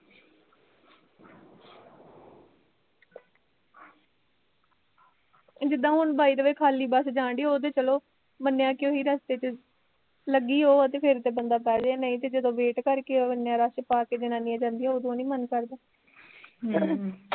ਜਿਦਾਂ ਹੁਣ ਵਾਇਦੇ ਵੇ ਖਾਲੀ ਬਸ ਜਾਣ ਡਈ ਉਹਤੇ ਚਲੋ, ਮੰਨਿਆ ਵੀ ਓਹੀ ਰਸਤੇ ਤੇ ਲੱਗੀ ਹੋਏ ਤੇ ਫੇਰ ਤੇ ਬੰਦਾ ਬਹਿਜੇ ਨਹੀਂ ਤਾਂ ਫੇਰ wait ਕਰਕੇ ਇਨਾਂ ਰਸ਼ ਪਾਕੇ ਜਨਾਨੀਆ ਜਾਂਦੀਆ ਉਦੋਂ ਨੀ ਮੰਨ ਕਰਦਾ ਹਮ